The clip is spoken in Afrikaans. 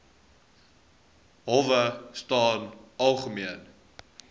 howe staan algemeen